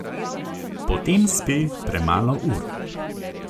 Potem spi premalo ur.